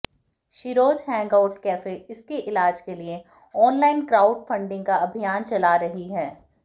Sheroes hangout cafe उसके इलाज के लिए ऑनलाइन क्राउड फंडिंग का अभियान चला रही है